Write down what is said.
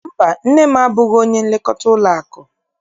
Mba, nne m abụghị onye nlekọta ụlọakụ.